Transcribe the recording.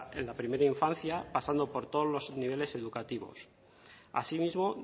en la primera infancia pasando por todos los niveles educativos asimismo